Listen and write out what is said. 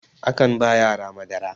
akan ba yara Madara